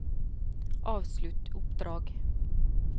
avslutt oppdrag